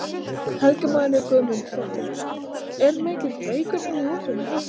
Helga María Guðmundsdóttir: Er mikill reykur inni í húsinu?